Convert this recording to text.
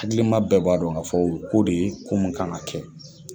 Hakilima bɛɛ b'a dɔn ka fɔ, o ye ko de ye ko min kan kɛ.